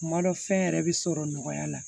Kuma dɔ fɛn yɛrɛ bi sɔrɔ nɔgɔya la